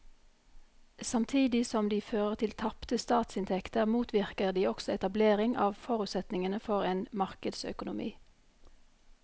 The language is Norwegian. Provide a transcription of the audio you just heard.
Samtidig som de fører til tapte statsinntekter motvirker de også etablering av forutsetningene for en markedsøkonomi.